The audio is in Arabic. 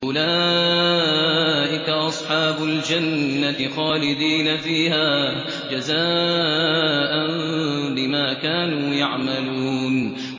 أُولَٰئِكَ أَصْحَابُ الْجَنَّةِ خَالِدِينَ فِيهَا جَزَاءً بِمَا كَانُوا يَعْمَلُونَ